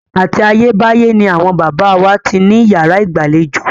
Àti ayé báyé ni àwọn baba wa ti ní yàrá ìgbàlejò.